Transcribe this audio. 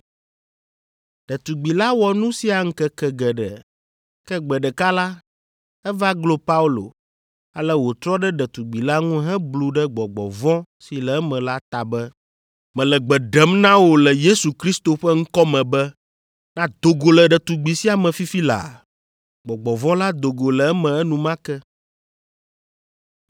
Ɖetugbi la wɔ nu sia ŋkeke geɖe, ke gbe ɖeka la, eva glo Paulo, ale wòtrɔ ɖe ɖetugbi la ŋu heblu ɖe gbɔgbɔ vɔ̃ si le eme la ta be, “Mele gbe ɖem na wò le Yesu Kristo ƒe ŋkɔ me be nàdo go le ɖetugbi sia me fifi laa!” Gbɔgbɔ vɔ̃ la do go le eme enumake.